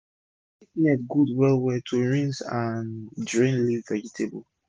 plastic net good well well to use rinse and drain leaf vegetable